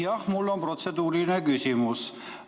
Jah, mul on protseduuriline küsimus.